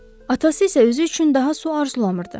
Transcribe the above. Atası isə özü üçün daha su arzulamırdı.